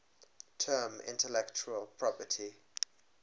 term intellectual property